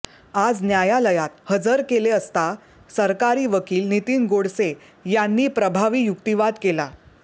आज न्यायलयात हजर केले असता सरकारी वकील नितिन गोडसे यांनी प्रभावी युक्तीवाद केला